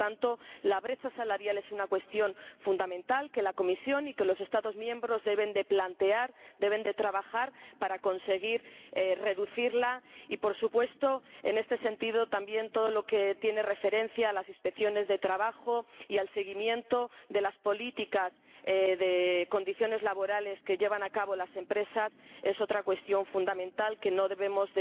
Por lo tanto, la brecha salarial es una cuestión fundamental que la Comisión y los Estados miembros deben plantear, desarrollar, para conseguir reducirla y, por supuesto, en este sentido, también todo lo que tiene referencia a las inspecciones de trabajo y al seguimiento de las políticas de condiciones laborales que llevan a cabo las empresas es otra cuestión fundamental que no debemos